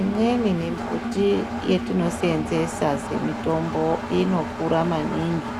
Imweni mimbuti yetinoseenzesa semitombo inokura maningi